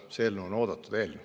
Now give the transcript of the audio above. See eelnõu on oodatud eelnõu.